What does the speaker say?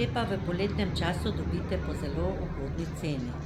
te pa v poletnem času dobite po zelo ugodni ceni.